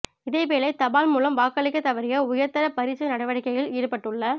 இதேவேளை தபால் மூலம் வாக்களிக்க தவறிய உயர்தர பரீட்சை நடவடிக்கையில் ஈடுபட்டுள்ள